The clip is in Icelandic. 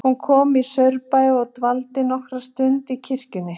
Hún kom í Saurbæ og dvaldi nokkra stund í kirkjunni.